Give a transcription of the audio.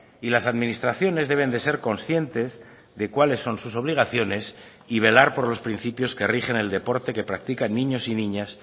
y las administraciones deben de ser conscientes de cuáles son sus obligaciones y velar por los principios que rigen el deporte que practican niños y niñas